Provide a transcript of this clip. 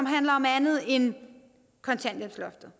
handler om andet end kontanthjælpsloftet